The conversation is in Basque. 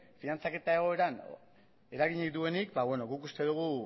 finantzaketa egoeran eragilerik duenik guk uste dugu